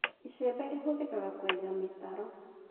ĩcembe rĩhuthĩkaga kũeja mĩtaro